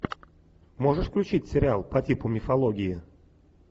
можешь включить сериал по типу мифологии